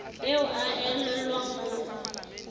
eo a e elellwang ho